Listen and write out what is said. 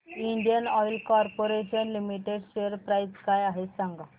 Indian Oil Corporation Limited share price काय आहे सांगा